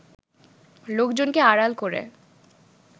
লোকজনকে আড়াল করে